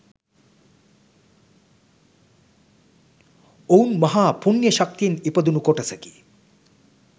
ඔවුන් මහා පුණ්‍ය ශක්තියෙන් ඉපදුණු කොටසකි.